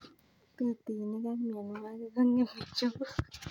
Tutuinik ak mianwogik ko ngemei njuguk